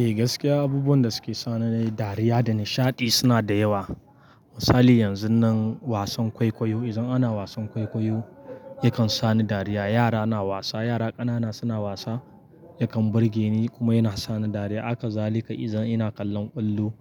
Eh gaskiya abubuwan da suke sani dariya da nishaɗi suna da yawa. Misali yanzun nan wasan kwaikwayo idan ana wasan kwaikwayo yakan sa ni dariya. Yara na wasa, yara ƙanana suna wasa yakan burge ni kuma yana sa ni dariya. Haka zalika idan ina kallon ƙwallo